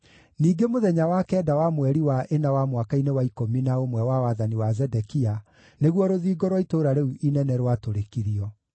Ningĩ mũthenya wa kenda wa mweri wa ĩna wa mwaka-inĩ wa ikũmi na ũmwe wa wathani wa Zedekia, nĩguo rũthingo rwa itũũra rĩu inene rwatũrĩkirio.